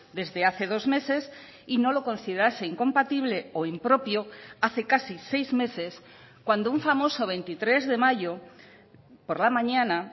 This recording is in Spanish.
desde hace dos meses y no lo considerase incompatible o impropio hace casi seis meses cuando un famoso veintitrés de mayo por la mañana